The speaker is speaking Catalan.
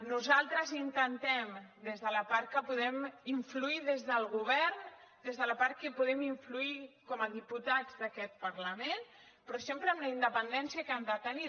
nosaltres intentem des de la part que podem influir des del govern des de la part que hi podem influir com a diputats d’aquest parlament però sempre amb la independència que han de tenir